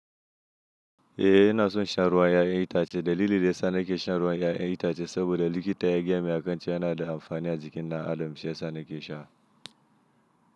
Eh ina son insha ruwa ya'yan itace, dalili da ya sa nake shan ruwa ya'yan itace saboda likita ya gaya min a kan cewa yana da amfani a jikin dan adam shi ya sa nake sha.